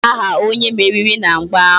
Gịnị bụ aha onye meriri na mgba ahụ?